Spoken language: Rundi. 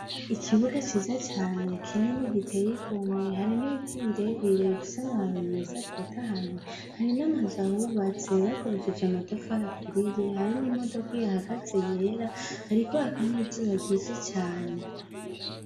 Ikibuga ciza cane kinini giteye igomwe, hari n' ibiti bire bire bifise amababi meza atotahaye hari n' amazu ahubatse bakoresheje amatafari aturiye hari n' imodoka ihahagaze yera hariko haka izuba ryinshi cane.